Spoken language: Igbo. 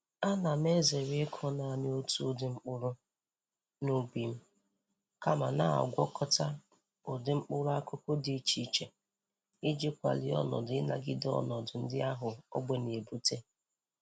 Ana m ezere ịkụ nanị otu ụdị mkpụrụ n'ubi m, kama na-agwakọta ụdị mkpụrụ akụkụ dị iche iche iji kwalie onọdụ inagide ọnọdụ ndị ahụ ogbe na-ebute.